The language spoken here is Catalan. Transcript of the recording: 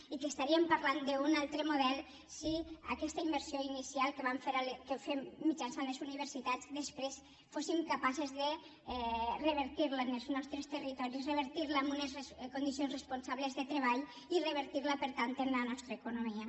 i parlaríem d’un altre model si aquesta inversió inicial que fem mitjançant les universitats després fóssim capaces de revertir la en els nostres territoris revertir la en unes condicions responsables de treball i revertir la per tant en la nostra economia